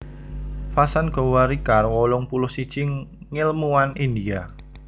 Vasant Gowarikar wolung puluh siji ngèlmuwan India